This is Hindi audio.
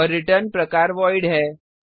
और रिटर्न प्रकार वॉइड है